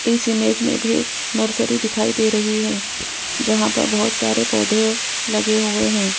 इस इमेज में भी एक नर्सरी दिखाई दे रही है जहां पर बहोत सारे पौधे लगे हुए हैं।